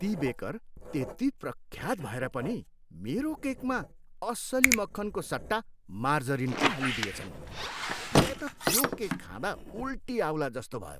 ती बेकर त्यति प्रख्यात भएर पनि मेरो केकमा असली मक्खनको सट्टा मार्जरिन पो हालिदिएछन्। मलाई त त्यो केक खाँदा उल्टी आउलाजस्तो भयो।